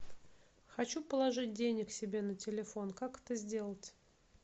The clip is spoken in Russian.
хочу положить денег себе на телефон как это сделать